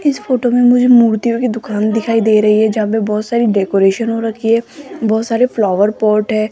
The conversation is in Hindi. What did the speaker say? इस फोटो में मुझे मूर्तियों की दुकान दिखाई दे रही है जहां पे बहोत सारी डेकोरेशन हो रखी है बहोत सारे फ्लावर पॉट है।